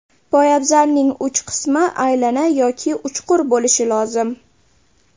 Poyabzalning uch qismi aylana yoki uchqur bo‘lishi lozim.